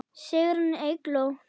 Sigrún Eygló.